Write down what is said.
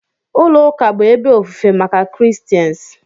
Ulo uka bụ ebe ofufe maka christains